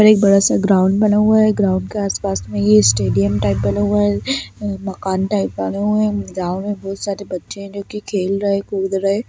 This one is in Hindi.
और एक बड़ा सा ग्राउंड बना हुआ है ग्राउंड के आसपास में ये स्टेडियम टाइप बना हुआ है मकान टाइप बना हुआ है ग्राउंड में बहुत सारे बच्चे हैं जो की खेल रहें हैं कूद रहें हैं।